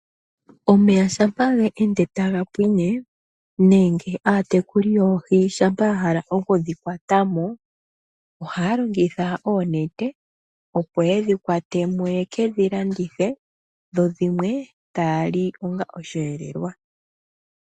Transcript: Omeya shampa ga ende taga pwine, nenge aatekuli yoohi shampa ya hala oku dhi kwata mo, oha ya longitha oonete, opo yedhi kwate mo yeke dhi landithe , dho dhimwe taa li ongo osheelelwa.